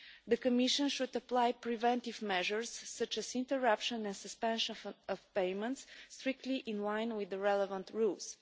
The Commission should apply preventive measures, such as interruption and suspension of payments, strictly in line with the relevant rules.